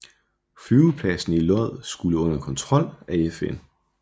Flyvepladsen i Lod skulle under kontrol af FN